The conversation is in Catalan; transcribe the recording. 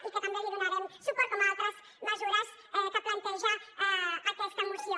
i que també li donarem suport com a altres mesures que planteja aquesta moció